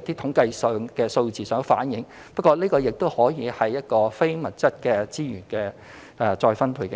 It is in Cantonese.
及不為統計數字所反映，不過這亦可算是非物質的資源再分配。